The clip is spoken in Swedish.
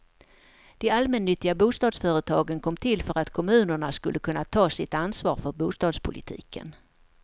De allmännyttiga bostadsföretagen kom till för att kommunerna skulle kunna ta sitt ansvar för bostadspolitiken.